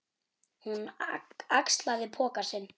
Hún axlaði poka sinn.